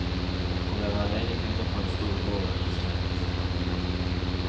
Å være alene kvinne på en stor gård er ikke lett.